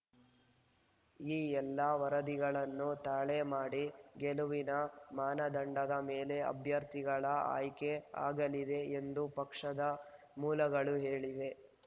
ಈ ಎಲ್ಲಾ ವರದಿಗಳನ್ನು ತಾಳೆ ಮಾಡಿ ಗೆಲುವಿನ ಮಾನದಂಡದ ಮೇಲೆ ಅಭ್ಯರ್ಥಿಗಳ ಆಯ್ಕೆ ಆಗಲಿದೆ ಎಂದು ಪಕ್ಷದ ಮೂಲಗಳು ಹೇಳಿವೆ